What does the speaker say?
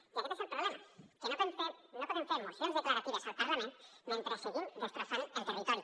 i aquest és el problema que no podem fer mocions declaratives al parlament mentre seguim destrossant el territori